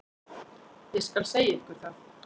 Ég skal segja ykkur það.